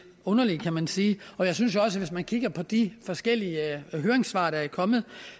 underlige kan man sige og jeg synes også hvis man kigger på de forskellige høringssvar der er kommet